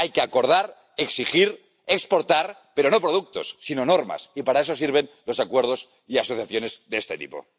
Hay que acordar, exigir, exportar, pero no productos, sino normas, y para eso sirven los acuerdos y asociaciones de este tipo.